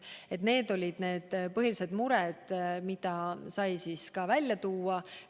Need olid need põhilised mured, mida saime välja tuua.